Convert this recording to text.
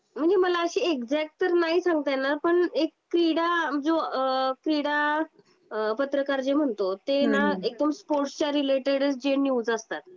नाही मला असं एक्साक्ट तर नाही सांगता येणार. पण एक क्रीडा म्हणजे अ क्रीडा पत्रकार जे म्हणतो ते ना एक तर स्पोर्टच्या रिलेटेड जे न्यूज असतात.